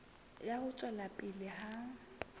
ya ho tswela pele ha